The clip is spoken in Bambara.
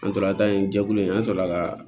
An tora ta in jɛkulu in an sɔrɔla ka